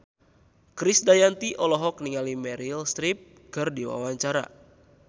Krisdayanti olohok ningali Meryl Streep keur diwawancara